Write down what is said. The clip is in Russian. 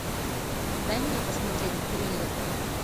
дай мне посмотреть триллер